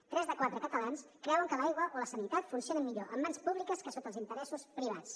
tres de cada quatre catalans creuen que l’aigua o la sanitat funcionen millor en mans públiques que sota els interessos privats